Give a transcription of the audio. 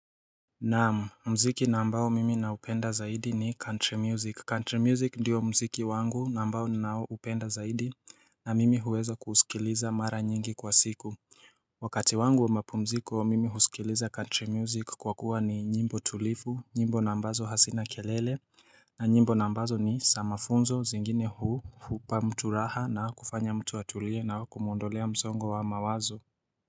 Naam mziki na ambayo mimi naupenda zaidi ni country music country music ndiyo mziki wangu na ambao naupenda zaidi na mimi huweza kuusikiliza mara nyingi kwa siku Wakati wangu wa mapumziko mimi husikiliza country music kwa kuwa ni nyimbo tulivu nyimbo na ambazo hazina kelele na nyimbo na ambazo ni za mafunzo zingine hupa mtu raha na kufanya mtu atulie na kumuondolea msongo wa mawazo.